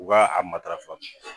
U b'a a matarafa